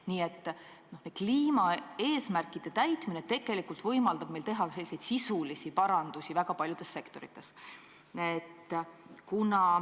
Nii et kliimaeesmärkide täitmine võimaldab meil tegelikult teha sisulisi parandusi väga paljudes sektorites.